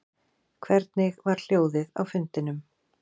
Hvernig var hljóðið á fundinum